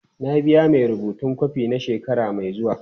Na biya mai rubutun kwafi na shekara mai zuwa.